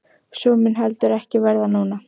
Og svo mun heldur ekki verða núna!